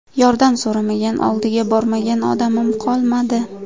Yordam so‘ramagan, oldiga bormagan odamim qolmadi.